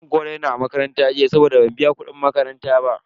An kore ni a makaranta jiya saboda ban biya kudin makaranta ba.